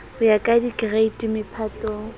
ho ya ka dikereiti mephatong